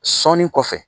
Sɔni kɔfɛ